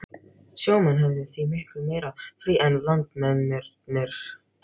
Sjó menn höfðu því miklu meira frí en landmennirnir.